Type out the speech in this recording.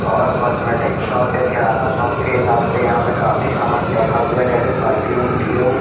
और cosmetic shop है किराना शॉप के हिसाब से यहाँ पे काफी सामान रखा हुआ है जैसे परफ्यूम डियो --